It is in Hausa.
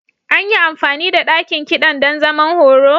An yi amfani da ɗakin kiɗan don zaman horo?